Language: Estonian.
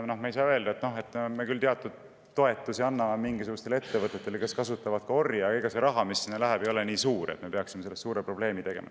Me ei saa ju öelda, et me anname küll teatud toetusi mingisugustele ettevõtetele, kes kasutavad ka orje, aga see raha, mis sinna läheb, ei ole nii suur, et me peaksime sellest suure probleemi tegema.